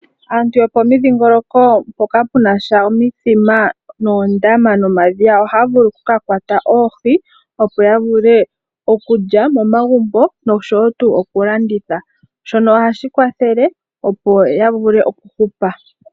Aantu yopomidhingoloko mpoka pena sha omithima noondama nomadhiya ohaya vulu oku ka kwata oohi opo ya vule okulya momagumbo nosho woo tuu oku landitha, shono ohashi kwathele opo ya vule okuhupa.